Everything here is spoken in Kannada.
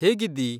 ಹೇಗಿದ್ದೀ?